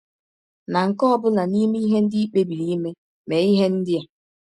Na nke ọ bụla n’ime ihe ndị i kpebiri ime, mee ihe ndị a: